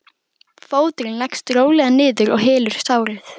Fóturinn leggst rólega niður og hylur sárið.